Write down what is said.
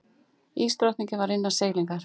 Ísdrottningin var innan seilingar.